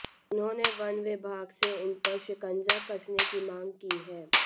उन्होंने वन विभाग से इन पर शिकंजा कसने की मांग की है